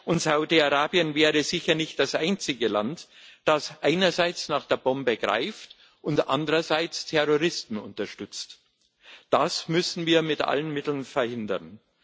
Und Saudi Arabien wäre sicher nicht das einzige Land, das einerseits nach der Bombe greift und andererseits Terroristen unterstützt. Das müssen wir mit allen Mitteln verhindern.